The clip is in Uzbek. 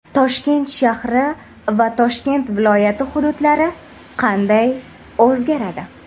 Toshkent shahri va Toshkent viloyati hududlari qanday o‘zgaradi?.